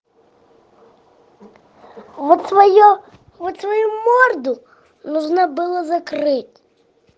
вот своё вот свою морду нужно было закрыть